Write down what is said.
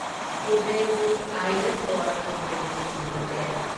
Kudremukh iron ore company limited